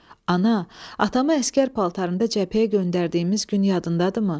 Ana, atamı əsgər paltarında cəbhəyə göndərdiyimiz gün yadındadır mı?